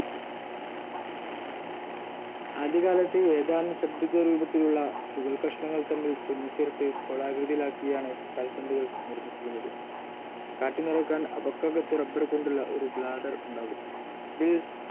ആദ്യകാലത്ത് ഏതാനും ഷഡ്ഭുജരൂപത്തിലുള്ള തുകൽക്കഷണങ്ങൾ തമ്മിൽ തുന്നിച്ചേർത്ത് ഗോളാകൃതിയിലാക്കിയാണ് കാൽപ്പന്തുകൾ നിർമ്മിച്ചിരുന്നത്. കാറ്റു നിറക്കാൻ അവക്കകത്ത് റബ്ബർ കൊണ്ടുള്ള ഒരു ബ്ലാഡർ ഉണ്ടാകും. ഇതിൽ